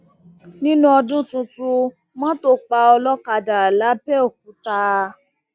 nínú ọdún tuntun mọtò pa olókàdá lápẹọkúta